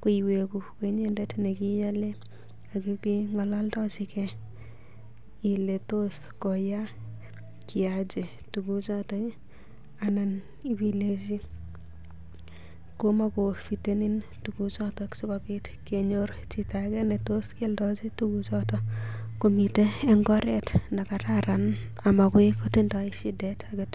ko iwegu ko inyendet ne kiiale ak ibeng'ololdochige ile tos koya kiaje tuguchoto anan ibilenji kamakofitenin tuguchoto sikobit kenyor chito age netos kealdochi tuguchoto komiten en ngoret ne kararan amagoi kotindo shidet age tugul.